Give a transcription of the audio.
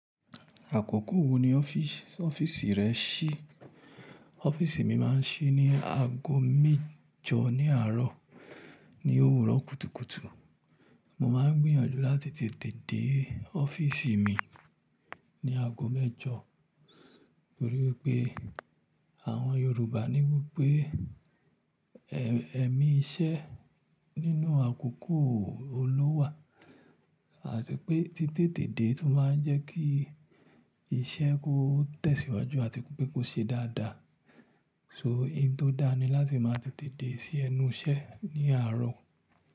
Àkókò wo ni ọ́fíìsì rẹ ṣí? Ọ́fíìsì mi máa ń ṣí ní aago mẹ́jọ ní àárọ̀ ní òwúrọ̀ kùtùkùtù. Mo máa ń gbìyànjú láti tètè dé ọ́fíìsì mi ní aago mẹ́jọ, torí wípé àwọn Yorùbá ní wípé ẹ̀mí iṣẹ́ nínú àkókò o n lówà, àti pé títè tèdè tún máa ń jẹ́ kí iṣẹ́ kó tẹ̀síwájú àti pé kó ṣe dáadáa. So, ohun tó dáa ni láti máa tètè dé sí ẹnu iṣẹ́ ní àárọ̀.